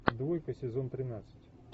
двойка сезон тринадцать